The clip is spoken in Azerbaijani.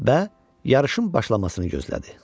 Və yarışın başlanmasını gözlədi.